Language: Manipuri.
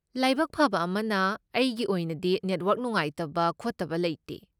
ꯂꯥꯏꯕꯛ ꯐꯕ ꯑꯃꯅ, ꯑꯩꯒꯤ ꯑꯣꯏꯅꯗꯤ ꯅꯦꯠꯋꯔꯛ ꯅꯨꯡꯉꯥꯏꯇꯕ ꯈꯣꯠꯇꯕ ꯂꯩꯇꯦ꯫